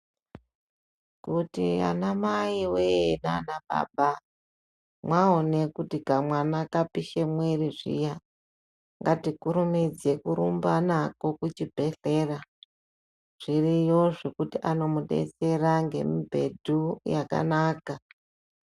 Kuti anamai wee naanababa mwaone kuti kamwana kapishe mwiri zviya, ngatikurumidze kurumba nako kuchibhedhlera. Zviriyo zvekuti anomudetsera ngemubhedhu yakanaka.